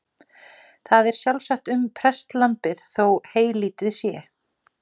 Það er sjálfsagt um prestlambið þó heylítið sé.